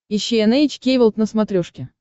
ищи эн эйч кей волд на смотрешке